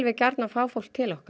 gjarnan fá fólk til okkar